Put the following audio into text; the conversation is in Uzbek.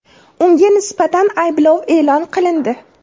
Unga nisbatan ayblov e’lon qilindi.